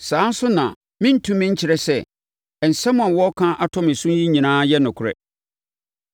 Saa ara nso na wɔrentumi nkyerɛ sɛ, nsɛm a wɔreka ato me so yi nyinaa yɛ nokorɛ.